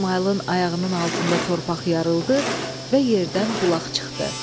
İsmayılın ayağının altında torpaq yarıldı və yerdən bulaq çıxdı.